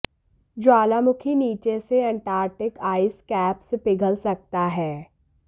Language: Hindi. ज्वालामुखी नीचे से अंटार्कटिक आइस कैप्स पिघल सकता है